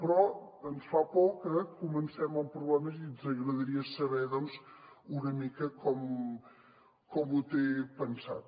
però ens fa por que comencem amb problemes i ens agradaria saber doncs una mica com ho té pensat